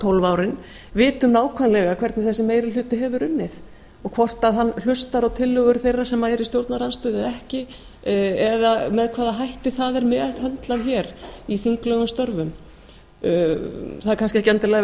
tólf árin vitum nákvæmlega hvernig þessi meiri hluti hefur unnið og hvort hann hlustar á tillögur þeirra sem eru í stjórnarandstöðu eða ekki eða með hvaða hætti það er meðhöndlað hér í þinglegum störfum það er kannski ekki endilega við